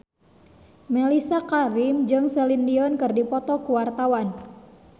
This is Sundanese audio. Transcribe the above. Mellisa Karim jeung Celine Dion keur dipoto ku wartawan